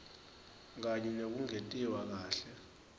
kanye nekungentiwa kahle